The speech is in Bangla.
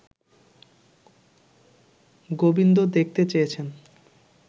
গোবিন্দ দেখতে চেয়েছেন